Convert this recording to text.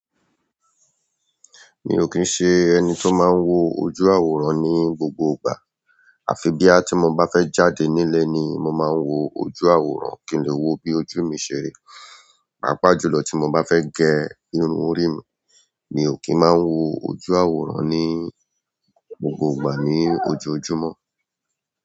Mi ò kín ṣe ẹni tó máa n wo ojú àwòrán ní gbogbo ìgbà. Àfi boya tí mo bá fẹ́ jáde nílé ni mo máa n wo ojú àwòrán kí n lè wo bí ojú mi ṣe rí. Pàápàá jùlọ tí mo bá fẹ́ gẹ irun orí mi, mi ò kín máa n wo ojú àwòrán ní gbogbo ìgbà ní ojoojúmọ́.